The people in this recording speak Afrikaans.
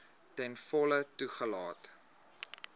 ten volle toegelaat